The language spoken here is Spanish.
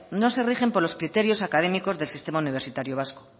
no se rigen por los criterios académicos del sistema universitario vasco